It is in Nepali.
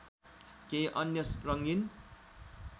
केही अन्य रङ्गीन